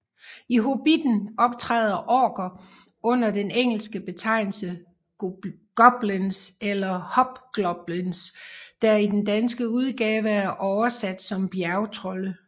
I Hobitten optræder orker under den engelske betegnelse goblins eller hobgoblins der i den danske udgave er oversat som bjergtrolde